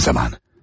Tam zamanı.